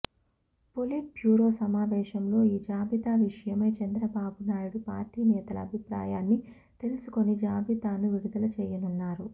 polit bureau సమావేశంలో ఈ జాబితా విషయమై చంద్రబాబునాయుడు పార్టీ నేతల అభిప్రాయాన్ని తెలుసుకొని జాబితాను విడుదల చేయనున్నారు